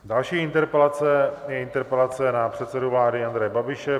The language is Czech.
Další interpelace je interpelace na předsedu vlády Andreje Babiše.